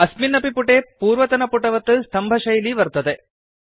अस्मिन् अपि पुटे पूर्वतनपुटवत् स्तम्भशैली वर्तते